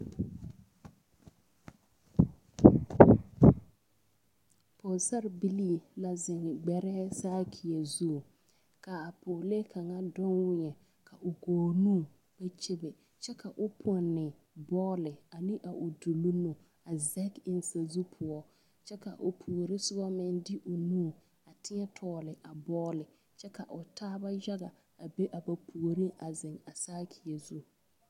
Pɔgesarebilii la zeŋ gbɛrɛɛ sakia zu ka a pɔgelee kaŋa de weɛ k'o nu ba kyebe kyɛ ka o pɔnne bɔle ane a o duluŋ nu a zege eŋ sazu poɔ kyɛ ka o puori soba meŋ de o nu a teɛ tɔgle a bɔle kyɛ ka o taaba yaga a be a ba puoriŋ a zeŋ a sakia zu.